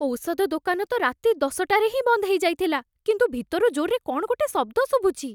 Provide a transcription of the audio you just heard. ଔଷଧ ଦୋକାନ ତ ରାତି ଦଶଟାରେ ହିଁ ବନ୍ଦ ହେଇଯାଇଥିଲା, କିନ୍ତୁ ଭିତରୁ ଜୋର୍‌ରେ କ'ଣ ଗୋଟେ ଶବ୍ଦ ଶୁଭୁଛି ।